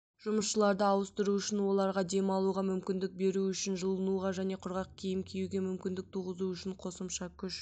жұмысшыларды ауыстыру үшін оларға демалуға мүмкіндік беру үшін жылынуға және құрғақ киім киюге мүмкіндік туғызу үшін қосымша күш